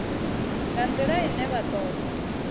nga ndila ine vha toda